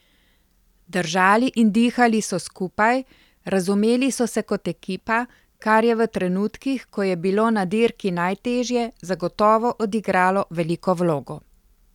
Držali in dihali so skupaj, razumeli so se kot ekipa, kar je v trenutkih, ko je bilo na dirki najtežje, zagotovo odigralo veliko vlogo.